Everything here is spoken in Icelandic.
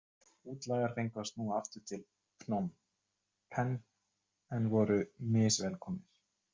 Útlagar fengu að snúa aftur til Phnom Penh en voru misvelkomnir.